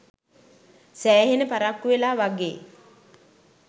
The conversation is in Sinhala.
සෑහෙන පරක්කු වෙලා වගේ